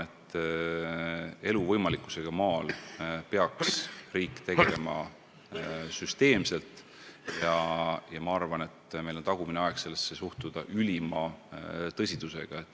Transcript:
Elu võimalikkusega maal peaks riik tegelema süsteemselt ja on tagumine aeg sellesse suhtuda ülima tõsidusega.